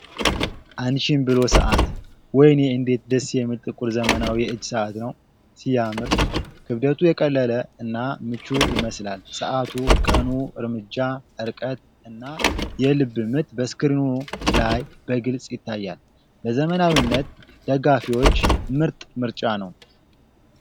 አንቺን ብሎ ሰዓት! ወይኔ እንዴት ደስ የሚል ጥቁር ዘመናዊ የእጅ ሰዓት ነው። ሲያምር! ክብደቱ የቀለለ እና ምቹ ይመስላል። ሰዓቱ፣ ቀኑ፣ እርምጃ፣ ርቀት እና የልብ ምት በስክሪኑ ላይ በግልጽ ይታያል። ለዘመናዊነት ደጋፊዎች ምርጥ ምርጫ ነው!